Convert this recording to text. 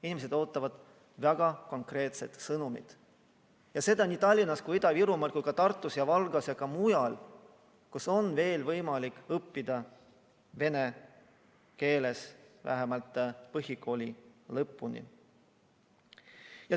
Inimesed ootavad väga konkreetset sõnumit nii Tallinnas kui ka Ida-Virumaal, nii Tartus ja Valgas kui ka mujal, kus on veel võimalik õppida vene keeles vähemalt põhikooli lõpuni.